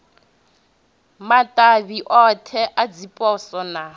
matavhi othe a dziposo na